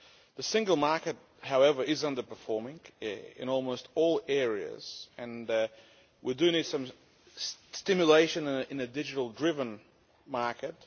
The single market, however, is underperforming in almost all areas and we do need some stimulation in a digital driven market.